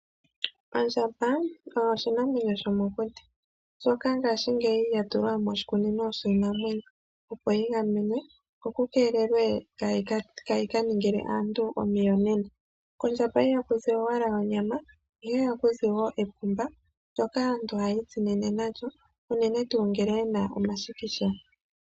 Ondjamba oyo oshinamwenyo shomokuti shoka ngashi ngeyi shatulwa moshikunino shiinamwenyo opo yi gamenwe ko kukeelelwe kaayi kaningile aantu omiyonena. Kondjamba ihakuzi owala onyama ihe ohakuzi epumba ndyoka aantu hayitsinine nalyo unene tuu ngele yena omashikisha.